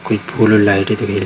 कोई फूल और लाइटे दिख रही --